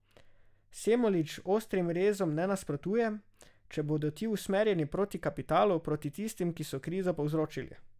Semolič ostrim rezom ne nasprotuje, če bodo ti usmerjeni proti kapitalu, proti tistim, ki so krizo povzročili.